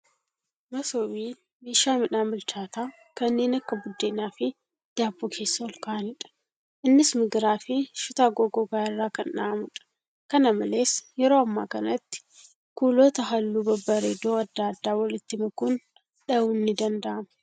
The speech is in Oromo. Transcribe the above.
Masoobiin, Meeshaa midhaan bilchaataa kanneen akka buddenafi daabboo keessa olkaa'aniidha. Innis migiraafi shutaa goggogaa irra kan dha'amuudha. Kana malees, yeroo ammaa kanatti kuulota halluu babbareedoo adda addaa walitti makuun dha'uun ni danda'ama.